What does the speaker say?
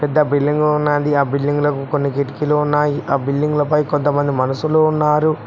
పెద్ద బిల్డింగ్ ఉన్నది ఆ బిల్డింగ్ కు కొన్ని కిటికీలు ఉన్నాయి బిల్డింగులపై కొంతమంది మనసులు ఉన్నారు.